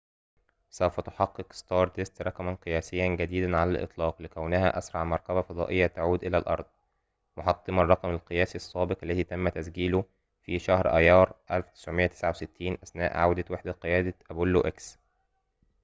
سوف تحقق ستاردست رقماً قياسياً جديداً على الإطلاق لكونها أسرع مركبة فضائية تعود إلى الأرض محطّمةً الرّقم القياسي السّابق الذي تمّ تسجيله في شهر أَيَّار عام 1969 أثناء عودة وحدة قيادة أبولو إكس